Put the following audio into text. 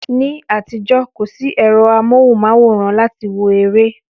Ní àtijọ́, kò sí ẹ̀rọ amóhùnmáwòrán láti wo eré